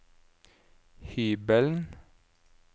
hybelen